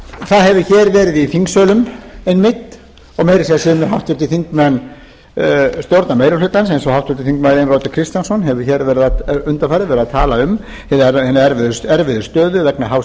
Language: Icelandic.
það hefur hér verið í þingsölum einmitt og meira að segja sumir háttvirtir þingmenn stjórnarmeirihlutans eins og háttvirtur þingmaður einar oddur kristjánsson hefur undanfarið verið að tala um hina erfiðu stöðu vegna hás